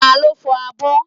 Taló fọ abọ́?